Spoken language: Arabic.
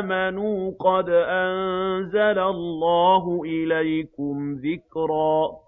آمَنُوا ۚ قَدْ أَنزَلَ اللَّهُ إِلَيْكُمْ ذِكْرًا